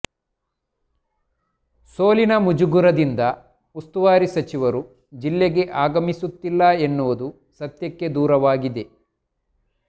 ಸೋಲಿನ ಮುಜುಗರದಿಂದ ಸ್ತುವಾರಿ ಸಚಿವರು ಜಿಲ್ಲೆಗೆ ಆಗಮಿಸುತ್ತಿಲ್ಲ ಎನ್ನುವುದು ಸತ್ಯಕ್ಕೆ ದೂರವಾಗಿದೆ